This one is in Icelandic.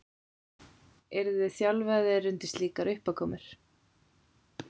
Eruð þið þjálfaðir undir slíkar uppákomur?